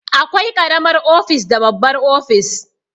Akwai karamar ofis da babbar ofis